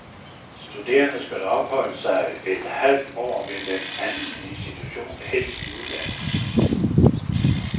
Studerende skal opholde sig et halvt år ved en anden institution, helst i udlandet.